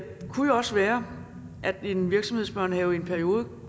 også være at de i en virksomhedsbørnehave i en periode